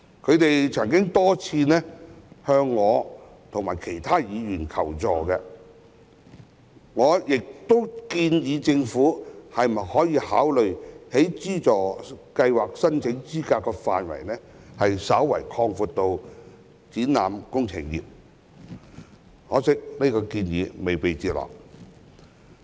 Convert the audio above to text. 他們曾多次向我及其他議員求助，我亦建議政府考慮將該資助計劃申請資格的範圍稍為擴闊至包括展覽工程業，可惜這項建議未被接納。